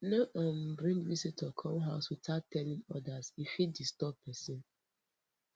no um dey bring visitor come house without telling others e fit disturb pesin